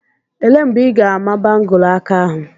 Elee mgbe ị ga-ama bangụlu aka ahụ?